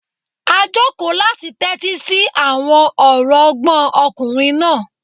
A jòkó láti tẹ́tí sí àwọn ọ̀rọ̀ ọgbọ́n ọkùnrin náà